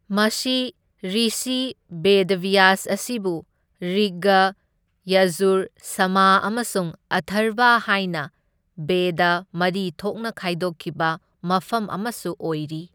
ꯃꯁꯤ ꯔꯤꯁꯤ ꯕꯦꯗꯕ꯭ꯌꯥꯁ ꯑꯁꯤꯕꯨ ꯔꯤꯒ, ꯌꯖꯨꯔ, ꯁꯥꯃꯥ ꯑꯃꯁꯨꯡ ꯑꯊꯔꯕ ꯍꯥꯏꯅ ꯕꯦꯗꯥ ꯃꯔꯤ ꯊꯣꯛꯅ ꯈꯥꯏꯗꯣꯛꯈꯤꯕ ꯃꯐꯝ ꯑꯃꯁꯨ ꯑꯣꯏꯔꯤ꯫